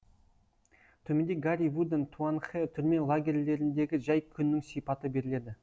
төменде гарри вудан туанхэ түрме лагерьлеріндегі жай күннің сипаты беріледі